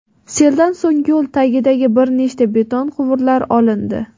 Seldan so‘ng yo‘l tagidagi bir nechta beton quvurlar olindi.